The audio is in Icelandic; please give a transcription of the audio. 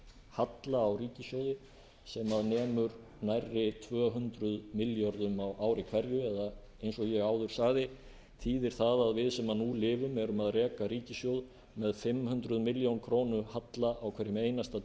halla á ríkissjóði sem nemur nærri tvö hundruð milljörðum á ári hverju eða eins og ég áður sagði þýðir það að við sem nú lifum erum að reka ríkissjóð með fimm hundruð milljóna króna halla á hverjum einasta